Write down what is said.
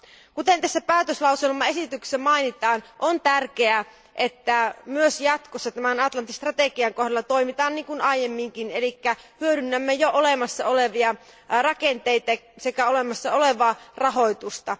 Kuten tässä päätöslauselmaesityksessä mainitaan, on tärkeää, että myös jatkossa tämän Atlantti strategian kohdalla toimitaan niin kuin aiemminkin, eli hyödynnämme jo olemassa olevia rakenteita sekä olemassa olevaa rahoitusta.